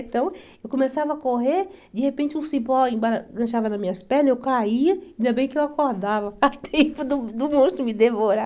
Então, eu começava a correr, de repente um cipó emba enganchava nas minhas pernas, eu caía, ainda bem que eu acordava a tempo do do monstro me devorar.